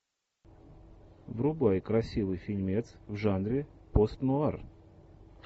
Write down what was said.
врубай красивый фильмец в жанре постнуар